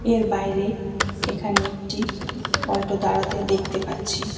এর বাইরে এখানে একটি ওল্টো দাঁড়াতে দেখতে পাচ্ছি।